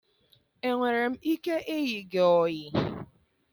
Enwere m ike ịyị gị oyii?